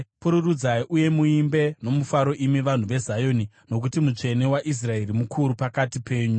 Pururudzai uye muimbe nomufaro, imi vanhu veZioni, nokuti Mutsvene waIsraeri mukuru pakati penyu.”